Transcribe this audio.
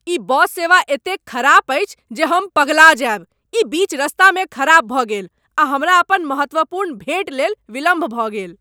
ई bus सेवा एतेक खराब अछि जे हम पगला जायब। ई बीच रस्तामे खराब भऽ गेल, आ हमरा अपन महत्वपूर्ण भेँट लेल विलम्ब भऽ गेल!